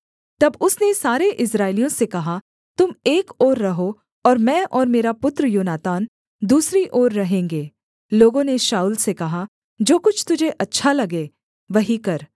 तब उसने सारे इस्राएलियों से कहा तुम एक ओर रहो और मैं और मेरा पुत्र योनातान दूसरी ओर रहेंगे लोगों ने शाऊल से कहा जो कुछ तुझे अच्छा लगे वही कर